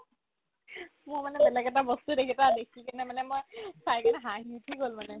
মই মানে বেলেগ এটা বস্তু যিকেইটা দেখি কিনে মানে মই চাই কিনে হাঁহি উঠি গ'ল মানে